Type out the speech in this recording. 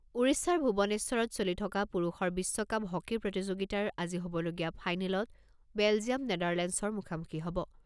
ওড়িশাৰ ভুৱনেশ্বৰত চলি থকা পুৰুষৰ বিশ্বকাপ হকী প্ৰতিযোগিতাৰ আজি হ'বলগীয়া ফাইনেলত বেলজিয়াম নেদাৰলেণ্ডচৰ মুখামুখি হ'ব।